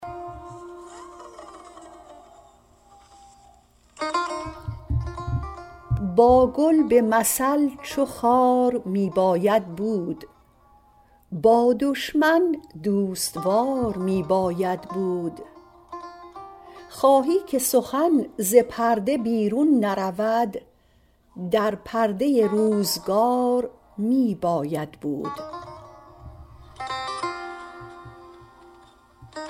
با گل به مثل چو خار می باید بود با دشمن دوست وار می باید بود خواهی که سخن ز پرده بیرون نرود در پرده روزگار می باید بود